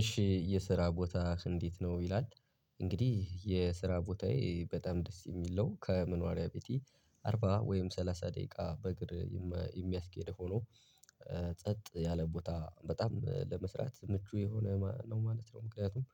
እሺ የስራ ቦታ እንዴት ነው ይላል። እንግዲህ የስራ ቦታዬ በጣም ደስ የሚለው ከመኖሪያ ቤቲ አርባ ወይም ሰላሳ ደቂቃ በእግር የሚያስኬድ ሆኖ ጸጥ ያለ ቦታ በጣም ለመስራት ምቹ የሆነ ነው ማለት ነው። ምክንያቱም